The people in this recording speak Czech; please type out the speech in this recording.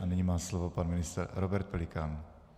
A nyní má slovo pan ministr Robert Pelikán.